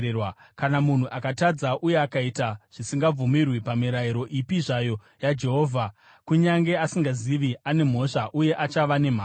“Kana munhu akatadza uye akaita zvisingabvumirwi pamirayiro ipi zvayo yaJehovha, kunyange asingazvizivi, ane mhosva uye achava nemhaka.